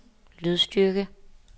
lydstyrke